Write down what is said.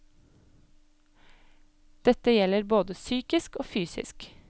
Dette gjelder både psykisk og fysisk.